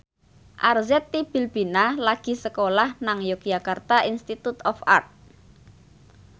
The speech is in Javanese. Arzetti Bilbina lagi sekolah nang Yogyakarta Institute of Art